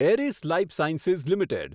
એરિસ lifesciences limited